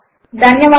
ఇంక విరమిస్తున్నాము